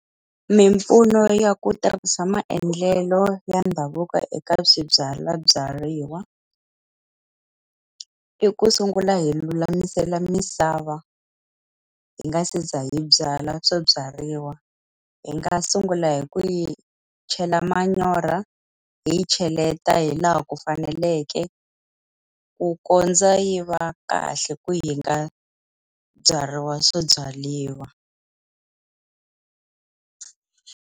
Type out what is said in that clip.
Mimpfuno ya ku tirhisa maendlelo ya ndhavuko eka swibyalabyariwa, i ku sungula hi lulamisela misava hi nga se za hi byala swo byariwa. Hi nga sungula hi ku yi chela manyoro, hi yi cheleta hi laha ku faneleke, ku kondza yi va kahle ku yi nga byariwa swibyariwa.